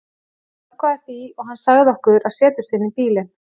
Ég jánkaði því og hann sagði okkur að setjast inn í bílinn.